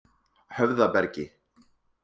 Höfðabergi